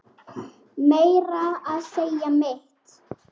Meira að segja mitt